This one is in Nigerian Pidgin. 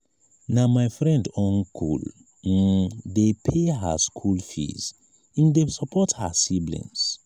na my na my friend uncle um dey pay her skool fees im dey support her siblings. um